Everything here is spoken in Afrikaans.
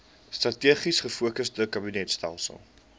strategies gefokusde kabinetstelsel